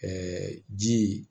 ji